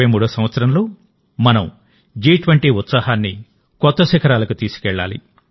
2023 సంవత్సరంలోమనం జి20 ఉత్సాహాన్ని కొత్తశిఖరాలకు తీసుకెళ్ళాలి